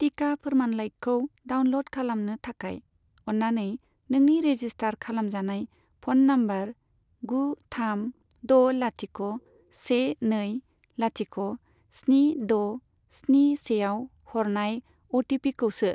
टिका फोरमानलाइखौ डाउनल'ड खालामनो थाखाय, अननानै नोंनि रेजिस्टार खालामजानाय फ'न नाम्बार गु थाम द' लाथिख' से नै लाथिख' स्नि द' स्नि सेआव हरनाय अ टि पिखौ सो।